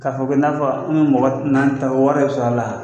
K'a fɔ i ko i n'a fɔ n mɔgɔ nan ta wɛrɛ de sɔrɔ la.